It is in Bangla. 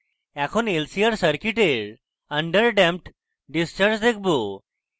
এখন lcr circuit under damped discharge দেখবো